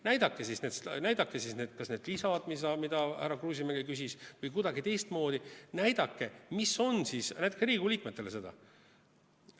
Näidake siis need lisad ära, mida härra Kruusimäe küsis, või kuidagi teistmoodi näidake Riigikogu liikmetele seda.